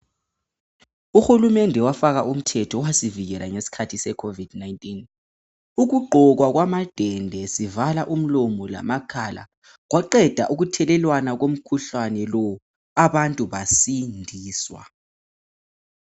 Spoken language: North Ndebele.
Uhulumende wafaka umthetho owasivikela ngesikhathi se COVID 19 ukugqokwa kwamadende sivala umlomo lamakhala kwaqeda ukuthelelwana komkhuhlane abantu badindiswa